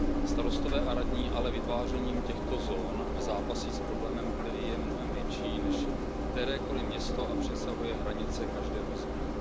Starostové a radní ale vytvářením těchto zón zápasí s problémem, který je mnohem větší než kterékoli město a přesahuje hranice každého z nich.